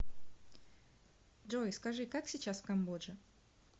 джой скажи как сейчас в камбодже